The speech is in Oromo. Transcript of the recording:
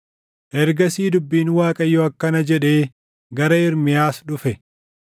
Ergasii dubbiin Waaqayyoo akkana jedhee gara Ermiyaas dhufe: